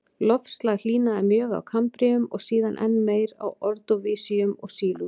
Loftslag hlýnaði mjög á kambríum og síðan enn meir á ordóvísíum og sílúr.